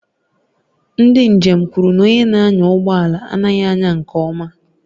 Ndị njem kwuru na onye na-anya ụgbọ ala anaghị anya nke ọma